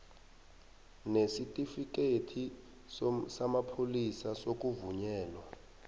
sesitifikhethi samapholisa sokuvunyelwa